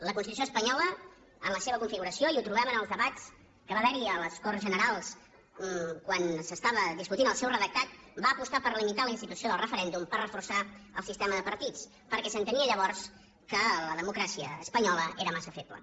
la constitució espanyola en la seva configuració i ho trobem en els debats que va haverhi a les corts generals quan s’estava discutint el seu redactat va apostar per limitar la institució del referèndum per reforçar el sistema de partits perquè s’entenia llavors que la democràcia espanyola era massa feble